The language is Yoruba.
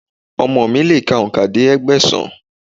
Ọmọ mi lè ka òǹkà dé Ẹgbẹ̀sán.